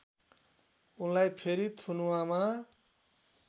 उनलाई फेरि थुनुवामा